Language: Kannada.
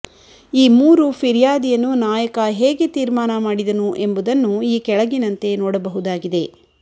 ಈ ಮೂರು ಫಿರ್ಯಾದಿಯನ್ನು ನಾಯಕ ಹೇಗೆ ತೀರ್ಮಾನ ಮಾಡಿದನು ಎಂಬುದನ್ನು ಈ ಕೆಳಗಿನಂತೆ ನೋಡಬಹುದಾಗಿದೆ